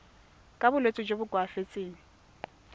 ka bolwetsi jo bo koafatsang